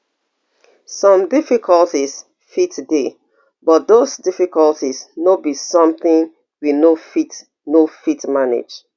some difficulties fit dey but those difficulties no be sometin we no fit no fit manage